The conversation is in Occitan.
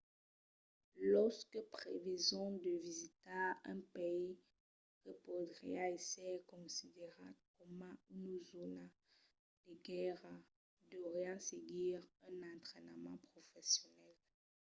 los que preveson de visitar un país que podriá èsser considerat coma una zòna de guèrra deurián seguir un entrainament professional